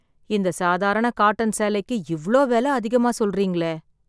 இந்த சாதாரண காட்டன் சேலைக்கு, இவ்ளோ வெல அதிகமா சொல்றீங்களே...